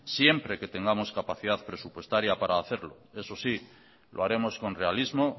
siempre que tengamos capacidad presupuestaria para hacerlo eso sí lo haremos con realismo